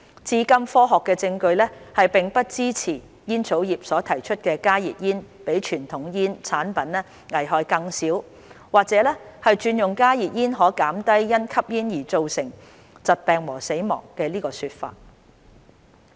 至今科學證據並不支持煙草業所提出"加熱煙比傳統煙草產品危害更小"或者"轉用加熱煙可減低因吸煙而造成的疾病和死亡"的說法。